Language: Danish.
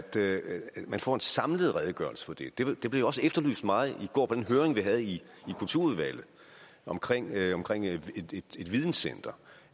få en samlet redegørelse for det det blev jo også efterlyst meget i går på den høring vi havde i kulturudvalget om et videncenter